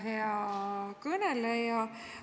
Hea kõneleja!